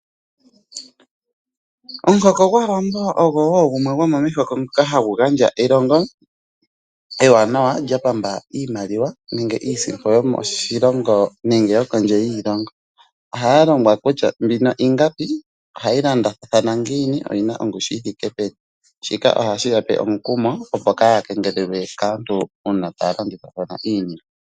Omuhoko gwAawambo ogwo wo gumwe gwomomumihoko dhoka hadhi gandja elongo ewanawa lyapamba iimaliwa nenge iisimpo yomoshilongo nenge yo kondje yiilongo. Ohaya longwa kutya mbino ingapi ohayi landathana ngiini ongushu yithike peni, shika ohashi yape omukumo opo kaya kengelelwe kaantu uuna taya landithathana iinima.